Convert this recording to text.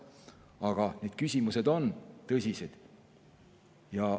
Aga need küsimused on tõsised.